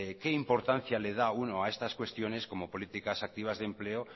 qué importancia le da uno a estas cuestiones como políticas activas de empleo